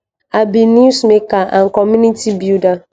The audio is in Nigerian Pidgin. i be newsmaker and a community builder